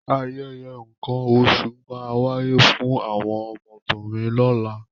Ayẹyẹ nǹkan oṣù máa wáyé fún àwọn ọmọbìnrin lọ́la.